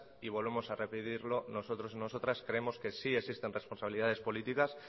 y volvemos a repetirlo nosotros nosotras creemos que si existen responsabilidades políticas